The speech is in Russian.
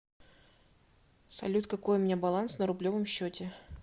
салют какой у меня баланс на рублевом счете